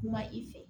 Kuma i fɛ